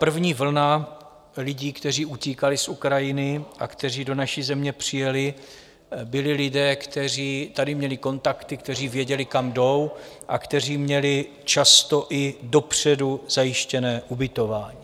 První vlna lidí, kteří utíkali z Ukrajiny a kteří do naší země přijeli, byli lidé, kteří tady měli kontakty, kteří věděli, kam jdou a kteří měli často i dopředu zajištěné ubytování.